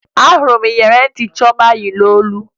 Ahụrụ m iyeri ntị Chioma yi n'olu